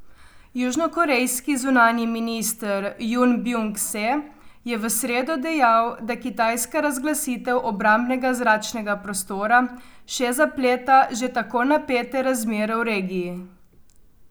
Južnokorejski zunanji minister Jun Bjung Se je v sredo dejal, da kitajska razglasitev obrambnega zračnega prostora še zapleta že tako napete razmere v regiji.